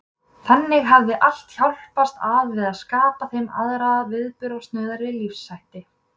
Þannig hafði allt hjálpast að við að skapa þeim aðra og viðburðasnauðari lífshætti.